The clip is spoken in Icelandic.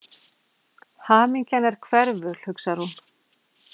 Hamingjan er hverful, hugsar hún.